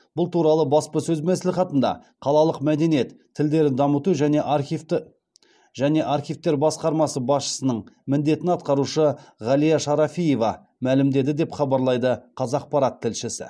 бұл туралы баспасөз мәслихатында қалалық мәдениет тілдерді дамыту және архивтер басқармасы басшысының міндетін атқарушы ғалия шарафиева мәлімдеді деп хабарлайды қазақпарат тілшісі